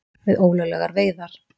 Við ólöglegar veiðar